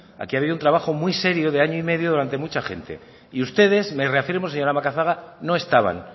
aquí ha habido un trabajo muy serio de año y medio durante mucha gente y ustedes me reafirmo señora macazaga no estaban